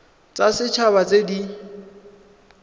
tsa set haba tse di